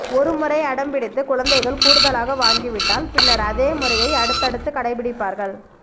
ஒருமுறை அடம்பிடித்து குழந்தைகள் கூடுதலாக வாங்கிவிட்டால் பின்னர் அதே முறையை அடுத்தடுத்து கடைபிடிப்பார்கள்